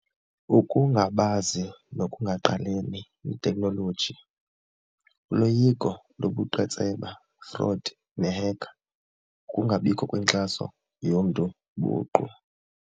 Ukungabazi nokungaqapheli iteknoloji, uloyiko lobuqhetseba, fraud nehekha, ukungabikho kwenkxaso yomntu buqu.